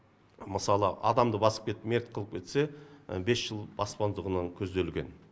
мысалы адамды басып кетіп мерт қылып кетсе бес жыл бас көзделген